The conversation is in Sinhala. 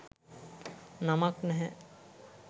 නමක් නැහැ.